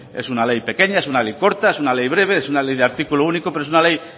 es una ley pequeña es una ley corta es una ley breve es una ley de artículo único pero una ley